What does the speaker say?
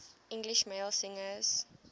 english male singers